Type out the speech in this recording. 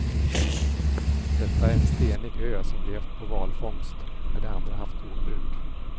Detta är en stenig ö som levt på valfångst när de andra haft jordbruk.